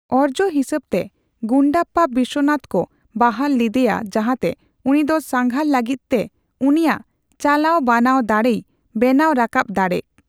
ᱚᱨᱡᱚ ᱦᱤᱥᱟᱹᱵᱛᱮ, ᱜᱩᱱᱰᱟᱯᱯᱟ ᱵᱤᱥᱥᱚᱱᱟᱛᱷ ᱠᱩ ᱵᱟᱦᱟᱞ ᱞᱤᱫᱤᱭᱟ ᱡᱟᱦᱟᱛᱮ ᱩᱱᱤ ᱫᱚ ᱥᱟᱝᱜᱷᱟᱨ ᱞᱟᱹᱜᱤᱛ ᱛᱮ ᱩᱱᱤᱭᱟᱜ ᱪᱟᱞᱟᱣ ᱵᱟᱱᱟᱣ ᱫᱟᱲᱮᱭ ᱵᱮᱱᱟᱣ ᱨᱟᱠᱟᱯ ᱫᱟᱲᱮᱠ ᱾